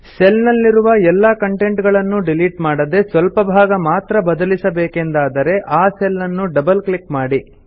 cell ನಲ್ಲಿರುವ ಎಲ್ಲಾ content ಗಳನ್ನೂ ಡಿಲೀಟ್ ಮಾಡದೇ ಸ್ವಲ್ಪ ಭಾಗ ಮಾತ್ರ ಬದಲಿಸಬೇಕೆಂದಾದರೆ ಆ ಸೆಲ್ ನ್ನು ಡಬಲ್ ಕ್ಲಿಕ್ ಮಾಡಿ